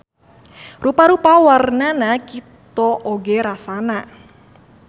Rupa-rupa warnana kito oge rasana.